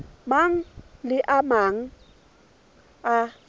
mang le a mang a